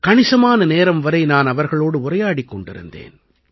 கணிசமான நேரம் வரை நான் அவர்களோடு உரையாடிக் கொண்டிருந்தேன்